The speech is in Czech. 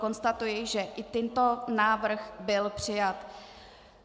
Konstatuji, že i tento návrh byl přijat.